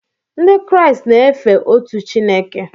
Ndị Kraịst na-efe otu Chineke